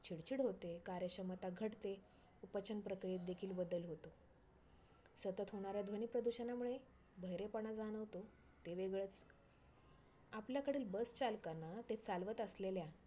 चिडचिड होते, कार्यक्षमता घटते, पचन प्रक्रियेत देखिल बदल होतो. सतत होणाऱ्या ध्वनी प्रदूषणामुळे बहिरेपणा जाणवतो ते वेगळच. आपल्याकडील bus चालकांना ते चालवत असलेल्या